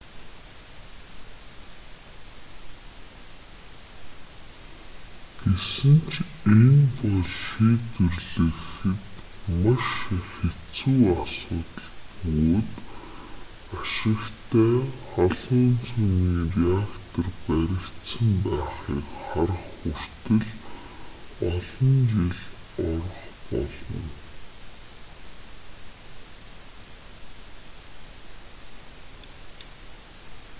гэсэн ч энэ бол шийдвэрлэхэд маш хэцүү асуудал бөгөөд ашигтай халуун цөмийн реактор баригдсан байхыг харах хүртэл олон жил орох болно